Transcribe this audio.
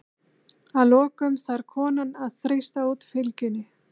Að lokum þarf konan að þrýsta út fylgjunni.